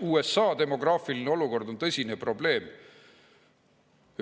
USA demograafiline olukord on tõsine probleem,